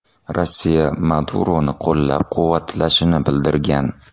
Rossiya Maduroni qo‘llab-quvvatlashini bildirgan.